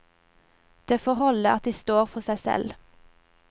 Det får holde at de står for seg selv.